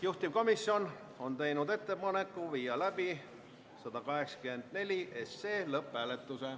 Juhtivkomisjon on teinud ettepaneku viia läbi eelnõu 184 lõpphääletus.